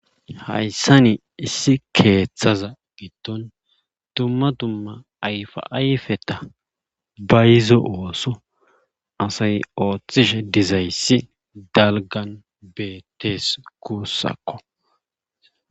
Hayssani issi keeththaza gitton tummatumma ayfa ayfeta bayizo ooso asay ooththishe dizayssi dalgan beettees kuussakko